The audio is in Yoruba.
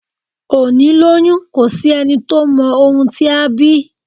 Òní lọyún, ko sí ení tọ mọ ohún tí á bí